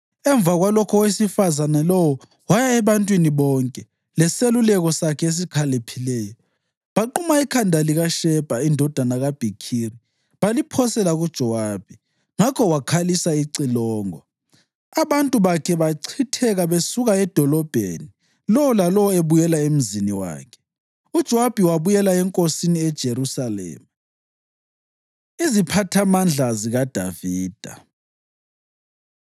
Emva kwalokho owesifazane lowo waya ebantwini bonke leseluleko sakhe esikhaliphileyo, baquma ikhanda likaShebha indodana kaBhikhiri baliphosela kuJowabi. Ngakho wakhalisa icilongo, abantu bakhe bachitheka besuka edolobheni, lowo lalowo ebuyela emzini wakhe. UJowabi wabuyela enkosini eJerusalema. Iziphathamandla ZikaDavida